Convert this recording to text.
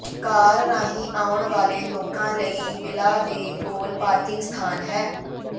ਕਾਰ ਰਾਹੀਂ ਆਉਣ ਵਾਲੇ ਲੋਕਾਂ ਲਈ ਵਿਲਾ ਦੇ ਕੋਲ ਪਾਰਕਿੰਗ ਸਥਾਨ ਹੈ